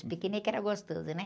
Os piqueniques eram gostosos, né?